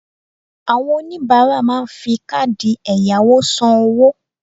Àwon oníbáárà máa n fi káàdì èyàwò san owó